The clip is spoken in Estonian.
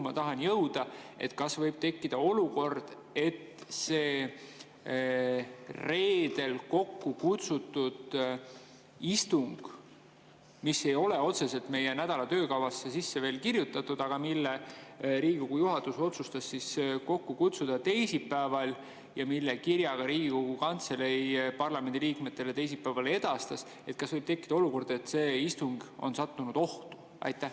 Ma tahan jõuda sinna, et kas võib tekkida olukord, et see reedeks kokkukutsutud istung, mis ei ole otseselt meie nädala töökavasse sisse kirjutatud, aga mille teisipäeval Riigikogu juhatus otsustas kokku kutsuda ja mille kohta ka Riigikogu Kantselei parlamendiliikmetele teisipäeval kirja edastas, on sattunud ohtu?